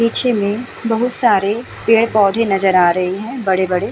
पीछे मे बोहोत सारे पेड़-पौधे नजर आ रहे हैं बड़े-बड़े।